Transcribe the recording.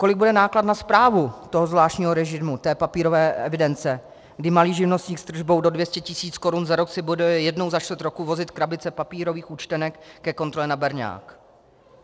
Kolik bude náklad na správu toho zvláštního režimu, té papírové evidence, kdy malý živnostník s tržbou do 200 tisíc korun za rok si bude jednou za čtvrt roku vozit krabice papírových účtenek ke kontrole na berňák?